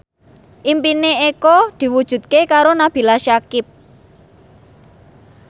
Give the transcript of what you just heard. impine Eko diwujudke karo Nabila Syakieb